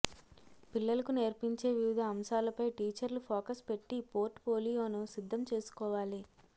పిల్లలకు నేర్పించే వివిధ అంశాలపై టీచర్లు ఫోకస్ పెట్టి పోర్ట్ ఫోలియోను సిద్ధం చేసుకోవాలి